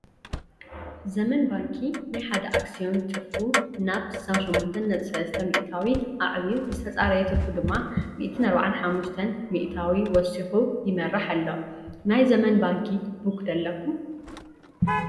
ዘመን ባንኪ ናይ ሓደ ኣክሲዮን ትርፉ ናብ 68.3 ሚኢታዊ ኣዕብዩ ዝተፃረየ ትርፉ ድማ በ145 ሚኢታዊ ወሲኹ ይመርሕ ኣሎ፡፡ ናይ ዘመን ባንኪ ቡክ ዶ ኣለኩም?